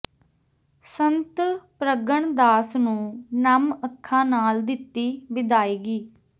ਸੰਤ ਪ੍ਰਗਣ ਦਾਸ ਨੂੰ ਨਮ ਅੱਖਾਂ ਨਾਲ ਦਿੱਤੀ ਵਿਦਾਇਗੀ